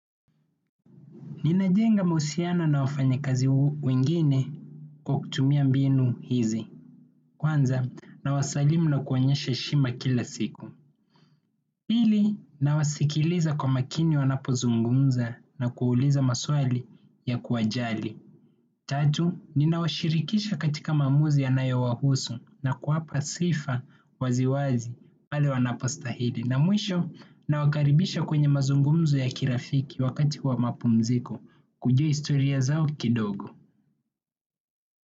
Ninajenga mahusiano na wafanya kazi wengine kwa kutumia mbinu hizi. Kwanza, na wasalimu na kuonyesha heshima kila siku. Pili, nawasikiliza kwa makini wanapo zungumza na kuuliza maswali ya kuwajali. Tatu, nina washirikisha katika maamuzi yanayo wahusu na kuwapa sifa waziwazi pale wanapo stahili. Na mwisho na wakaribisha kwenye mazungumzo ya kirafiki wakati wa mapumziko kujua historia zao kidogo.